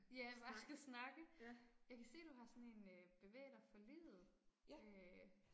Ja bare at skal snakke. Jeg kan se du har sådan en øh bevæg dig for livet øh